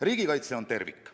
Riigikaitse on tervik.